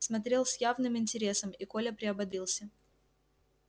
смотрел с явным интересом и коля приободрился